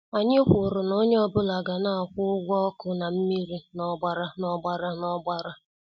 Anyị kwụrụ na-onye ọ bụla ga- na akwụ ụgwọ ọkụ na mmiri na- ọgbara na- ọgbara na- ọgbara.